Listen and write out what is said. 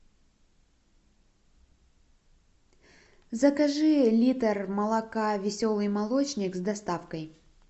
закажи литр молока веселый молочник с доставкой